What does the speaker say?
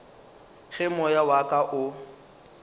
ge moya wa ka o